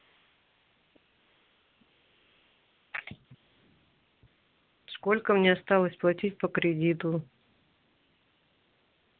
сколько мне осталось платить по кредиту